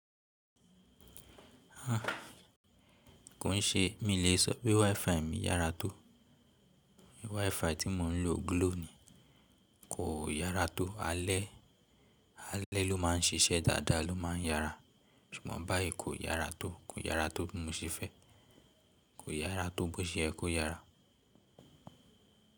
Há, kò ń ṣe. Mi lè sọ pé WiFi mi yára tó. WiFi tí mò ń lò Glo ni, kò yára tó. Alẹ́, alẹ́ ló máa ń ṣiṣẹ́ dáadáa, ló máa ń yára. Ṣùgbọ́n báyìí kò yára tó, kò yára tó bí mo ṣe fẹ́. Kò yára tó bó ṣe ẹ kó yára.